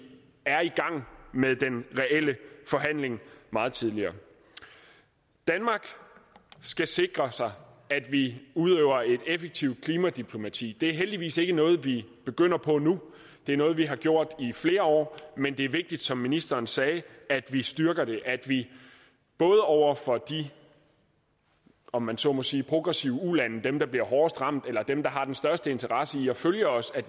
er i gang med den reelle forhandling meget tidligere danmark skal sikre sig at vi udøver et effektivt klimadiplomati det er heldigvis ikke noget vi begynder på nu det er noget vi har gjort i flere år men det er vigtigt som ministeren sagde at vi styrker det at vi både over for de om man så må sige progressive ulande dem der bliver hårdest ramt eller dem der har den største interesse i at følge os